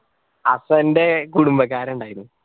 അപ്പൊ എന്റെ കുടുംബക്കാര് ഇണ്ടായിനു